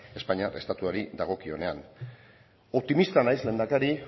espainiar estatuari dagokionean optimista naiz lehendakari